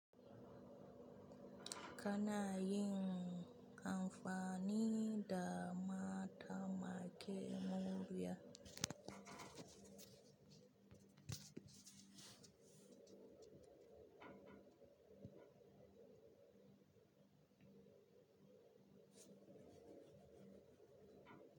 Kana yin amfani da maɗamaƙiya murya.